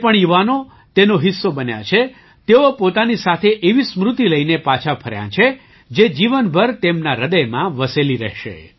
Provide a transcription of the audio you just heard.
જે પણ યુવાનો તેનો હિસ્સો બન્યા છે તેઓ પોતાની સાથે એવી સ્મૃતિ લઈને પાછા ફર્યા છે જે જીવનભર તેમના હૃદયમાં વસેલી રહેશે